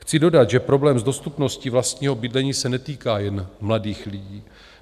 Chci dodat, že problém s dostupností vlastního bydlení se netýká jen mladých lidí.